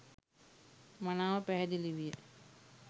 මනාව පැහැදිලි විය